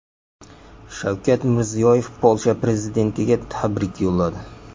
Shavkat Mirziyoyev Polsha prezidentiga tabrik yo‘lladi.